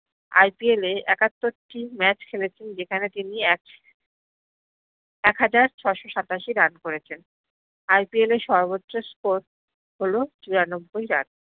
IPL এ একাত্তরটি match খেলেছেন যেখানে তিনি এক এক হাজার ছ্শ সাতাসি run করেছেন IPL এ সর্বত্র score হল চুরানব্বই run